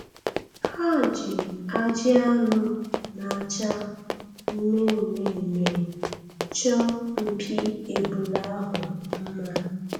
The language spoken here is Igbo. Ha ji ajị anụ na-acha mme mme mme chọọ mpi ebule ahụ mma.